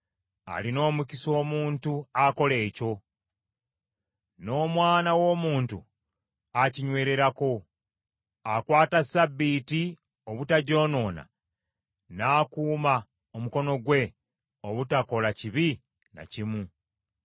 Alina omukisa omuntu akola ekyo, n’omwana w’omuntu akinyweererako. Akwata ssabbiiti obutagyonoona, n’akuuma omukono gwe obutakola kibi na kimu.”